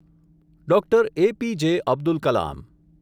Doctor. A P J. Abdul Kalam